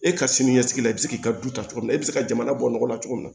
E ka sini ɲɛsigi la i bɛ se k'i ka du ta cogo min na e bɛ se ka jamana bɔ nɔgɔ la cogo min na